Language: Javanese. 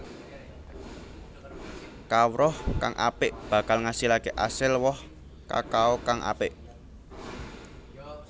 Kawruh kang apik bakal ngasilaké asil woh kakao kang apik